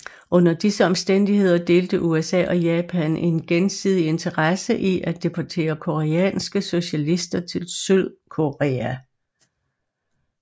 Under disse omstændigheder delte USA og Japan en gensidig interesse i at deportere koreanske socialister til Sydkorea